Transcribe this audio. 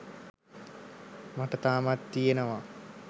මට තාමත් තියෙනවා